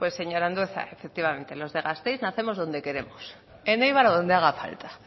pues señor andueza efectivamente los de gasteiz nacemos donde queremos en eibar o donde haga falta